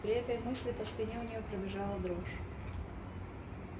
при этой мысли по спине у неё пробежала дрожь